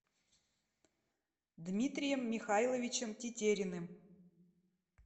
дмитрием михайловичем тетериным